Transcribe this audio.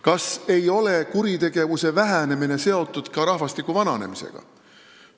Kas kuritegevuse vähenemine ei ole seotud ka rahvastiku vananemisega?